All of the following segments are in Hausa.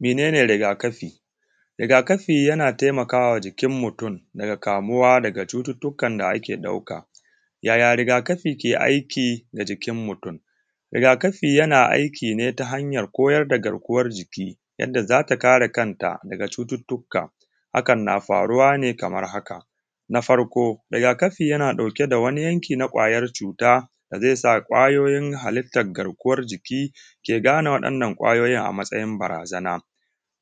mene ne rigakafi rigakafi yana taimakawa jikin mutum daga kamuwa daga cututtukan da ake ɗauka yaya rigakafi ke aiki ga jikin mutum rigakafi yana aikine ta hanyar koyar da garkuwan jiki yanda za ta kare kanta daga cututtuka hakan na faruwane kamar haka na farko rigakafi yana ɗauke da wani yanki na kwayar cuta da zai sa ƙwayoyi halittan garkuwan jiki ke gane wa’yanan ƙwayoyin a matsayin barazana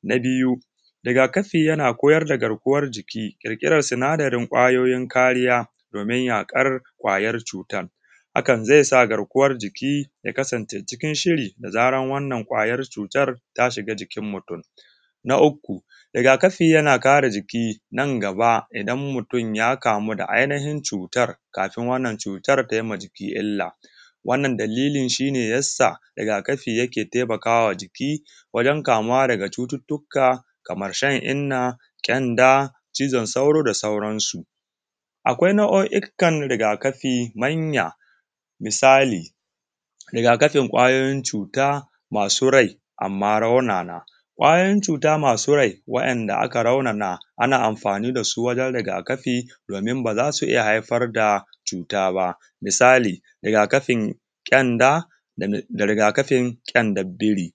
na biyu rigakafi yana koyar da garkuwan jiki ƙirƙiran sinadarin ƙwayoyin kariya domin yaƙar ƙwayan cutan hakan zai sa garkuwan jiki ya kasance cikin shiri da zarar wannan ƙwayan cutar ta shiga jikin mutum na uku rigakafi yana kare jiki nan gaba idan mutum ya kamu da ainihin cutar kafin wannan cutar ta yi ma jiki illa wannan dalilin shi ne ya sa rigakafi yake taimakawa jiki wajen kamuwa daga cututtuka kamar shan inna kyanda cizon sauro da sauransu akwai nau’o’ikan rigakafi manya misali rigakafin ƙwayoyin cuta masu rai amma raunana ƙwayoyin cuta masu rai wanda aka raunana ana amfani da su wajen rigakafi domin ba za su iya haifar da cuta ba misali rigakafin ƙyanda da rigakafin ƙyandan biri